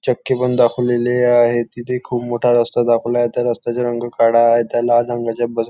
चक्की पण दाखवलेली आहे तिथे खूप मोठा रस्ता दाखविला आहे त्या रस्त्याचे रंग काळा आहे त्या लाल रंगाचे बस --